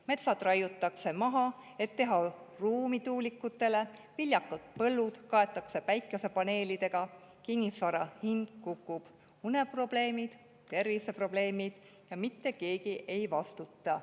Metsad raiutakse maha, et teha ruumi tuulikutele, viljakad põllud kaetakse päikesepaneelidega, kinnisvara hind kukub, uneprobleemid, terviseprobleemid ja mitte keegi ei vastuta.